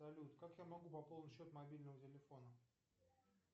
салют как я могу пополнить счет мобильного телефона